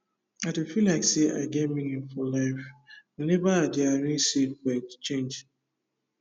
i dey feel like say i get meaning for life whenever i dey arrange seed for exchange